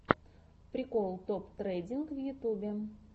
прикол топ трендинг в ютьюбе